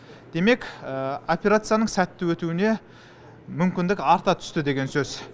демек операцияның сәтті өтуіне мүмкіндік арта түсті деген сөз